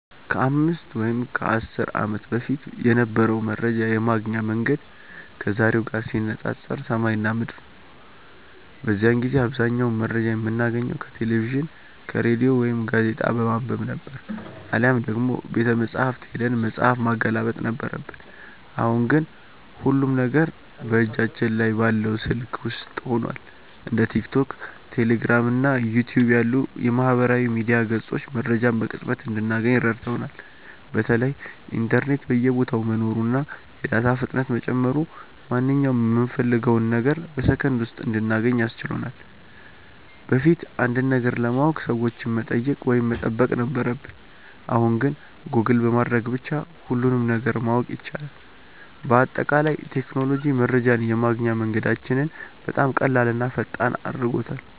ከ5 ወይም ከ10 ዓመት በፊት የነበረው መረጃ የማግኛ መንገድ ከዛሬው ጋር ሲነፃፀር ሰማይና ምድር ነው። በዚያን ጊዜ አብዛኛውን መረጃ የምናገኘው ከቴሌቪዥን፣ ከሬዲዮ ወይም ጋዜጣ በማንበብ ነበር፤ አሊያም ደግሞ ቤተመጻሕፍት ሄደን መጽሐፍ ማገላበጥ ነበረብን። አሁን ግን ሁሉም ነገር በእጃችን ላይ ባለው ስልክ ውስጥ ሆኗል። እንደ ቲክቶክ፣ ቴሌግራም እና ዩቲዩብ ያሉ የማህበራዊ ሚዲያ ገጾች መረጃን በቅጽበት እንድናገኝ ረድተውናል። በተለይ ኢንተርኔት በየቦታው መኖሩና የዳታ ፍጥነት መጨመሩ ማንኛውንም የምንፈልገውን ነገር በሰከንድ ውስጥ እንድናገኝ አስችሎናል። በፊት አንድን ነገር ለማወቅ ሰዎችን መጠየቅ ወይም መጠበቅ ነበረብን፣ አሁን ግን ጎግል በማድረግ ብቻ ሁሉንም ነገር ማወቅ ይቻላል። በአጠቃላይ ቴክኖሎጂ መረጃን የማግኛ መንገዳችንን በጣም ቀላልና ፈጣን አድርጎታል።